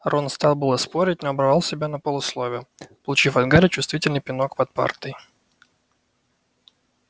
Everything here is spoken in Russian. рон стал было спорить но оборвал себя на полуслове получив от гарри чувствительный пинок под партой